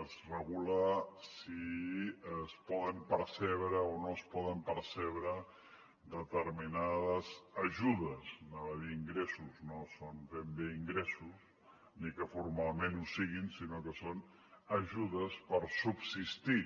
es regula si es poden percebre o no es poden percebre determinades ajudes anava a dir ingressos no són ben bé ingressos ni que formalment ho siguin sinó que són ajudes per subsistir